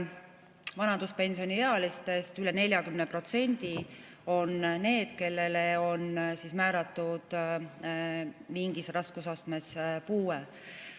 Vanaduspensioniealistest üle 40% on neid, kellele on määratud mingis raskusastmes puue.